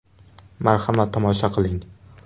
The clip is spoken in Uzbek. Marhamat, tomosha qiling.